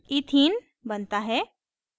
ethene बनता है